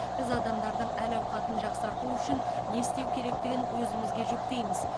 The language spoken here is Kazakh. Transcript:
біз адамдардың әл ауқатын жақсарту үшін не істеу керектігін өзімізге жүктейміз